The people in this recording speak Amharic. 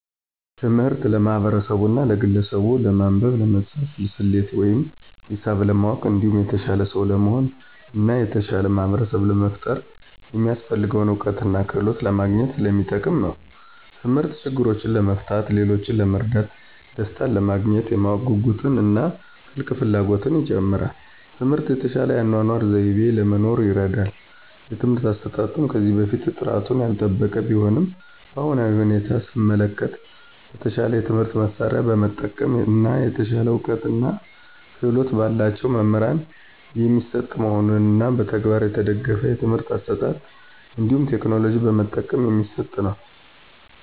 ትምህርት ለማህበርሰቡና ለግለሰቡች ለማንበብ፣ ለመፃፍና፣ ሰሌት ወይም ሂሳብ ለማወቅ እንዲሁም የተሻለ ሰው ለመሆን እና የተሻለ ማህበርሰብ ለመፍጠር የሚያሰፍልገውን እውቀትና ክህሎት ለማግኝት ሰለሚጠቅም ነው። ተምህርት ችግሮችን ለመፍታት፣ ሌሎችን ለመርዳት፣ ደሰታንለማግኘት፣ የማወቅ ጉጉትን እና ጥልቅ ፍላጎትን ይጨምራል። ትምህርት የተሻለ የአኗኗር ዘይቤ ለመኖር ይርዳል። የትምህርት አሰጣጡም ከዚህ በፊት ጥራቱን ያልጠበቀ ቢሆንም በአሁናዊ ሁኔታ ሰመለከት በተሻለ የትምህርት መሳርያ በመጠቀም እና የተሻለ እውቀትና ክህሎት በላቸው መምህራን የሚሰጥ መሆኑንና በተግባር የተደገፍ የትምህርት አሰጣጥ እንዲሁም ቴክኖሎጂ በመጠቀም የሚሰጥ ነው።